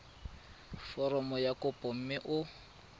foromo ya kopo mme o